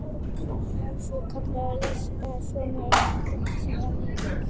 Svokallaður ríkisábyrgðasjóður innheimtir gjaldið sem rennur í ríkissjóð.